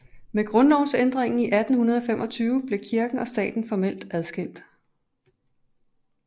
Med grundlovsændringen i 1825 blev kirken og staten formelt adskilt